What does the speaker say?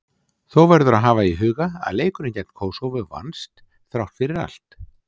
Þó verður að hafa í huga að leikurinn gegn Kósóvó vannst, þrátt fyrir allt.